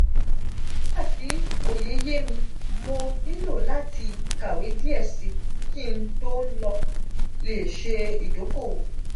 nigbati oye ye mi mo nilo lati kawe diẹ si ki n n to le se idokoowo.